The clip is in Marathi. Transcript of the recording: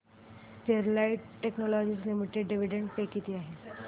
Sterlite technologies limited dividend pay किती आहे